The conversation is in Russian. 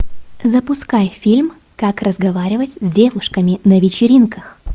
запускай фильм как разговаривать с девушками на вечеринках